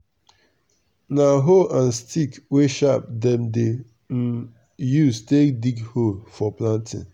na hoe and stick wey sharp dem dey um use take dig hole for planting.